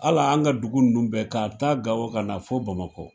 Hal'an ka dugu ninnu bɛɛ k'a ta Gawo ka na fo Bamakɔ,